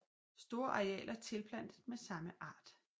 Store arealer tilplantet med same art